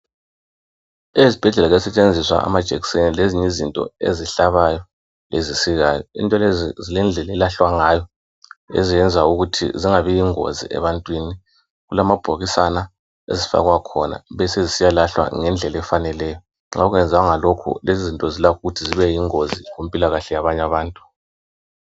Ezibhedlela kuyasetshenziswa amajekiseni lezinye izinto ezihlabayo lezisikayo into lezi zilendlela ezilahlwa ngayo ezenza ukuthi zingabi yingozi ebantwini, kulamabhokisana afakwa khona besezisiywa lahlwa ngendlela efaneleyo, nxa ungenzanga lokhu lezizinto zilakho ukuthi zibe yingozi kumpilakahle yabanye abantu.